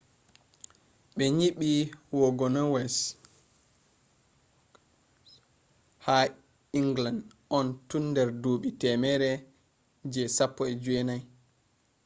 be nyibi wagonways ha england on tun der duubi temere je 16